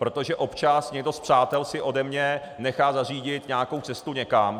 Protože občas někdo z přátel si ode mě nechá zařídit nějakou cestu někam...